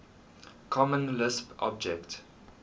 common lisp object